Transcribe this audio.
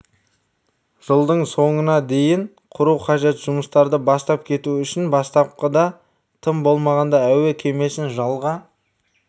жылдың соңына дейін құру қажет жұмыстарды бастап кету үшін бастапқыда тым болмағанда әуе кемесін жалға